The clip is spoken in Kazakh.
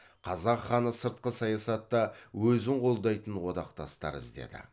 қазақ ханы сыртқы саясатта өзін қолдайтын одақтастар іздеді